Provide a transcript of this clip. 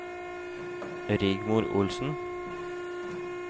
Rigmor Olsen